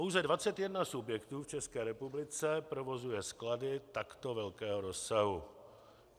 Pouze 21 subjektů v České republice provozuje sklady takto velkého rozsahu.